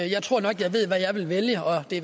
jeg tror nok jeg ved hvad jeg ville vælge og det